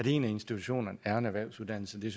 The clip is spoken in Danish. institutionerne er en erhvervsuddannelse det